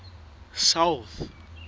south